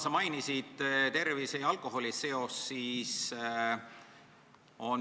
Sa mainisid ka tervise ja alkoholi seost.